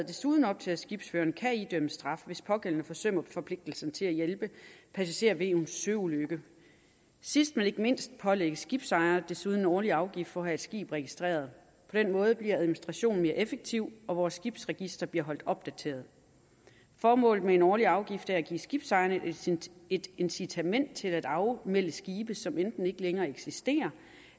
desuden op til at skibsførerne kan idømmes straf hvis pågældende forsømmer forpligtelsen til at hjælpe passagerer ved en søulykke sidst men ikke mindst pålægges skibsejere desuden en årlig afgift for at have et skib registreret på den måde bliver administrationen mere effektiv og vores skibsregister bliver holdt opdateret formålet med en årlig afgift er at give skibsejerne et incitament til at afmelde skibe som enten ikke længere eksisterer